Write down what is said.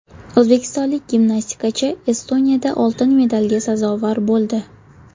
O‘zbekistonlik gimnastikachi Estoniyada oltin medalga sazovor bo‘ldi.